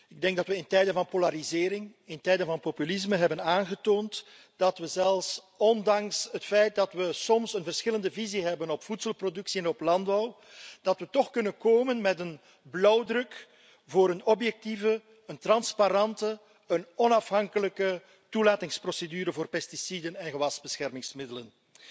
Ik denk dat we in tijden van polarisering, in tijden van populisme, hebben aangetoond dat we zelfs ondanks het feit dat we soms een verschillende visie op voedselproductie en landbouw hebben, toch kunnen komen met een blauwdruk voor een objectieve, transparante, onafhankelijke toelatingsprocedure voor pesticiden en gewasbeschermingsmiddelen.